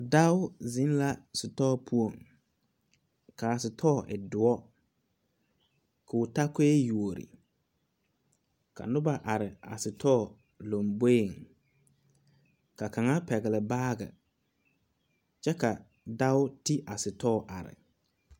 Dao zeŋ la sitɔɔ poɔ ka a sitɔɔ e dɔɔre kɔɔ ta koe yuo ka noba are a sitɔɔ lambori ka kaŋa pɛgeli. baage kyɛ ka dao ti a store are ne